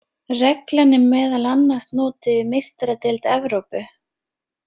Reglan er meðal annars notuð í Meistaradeild Evrópu.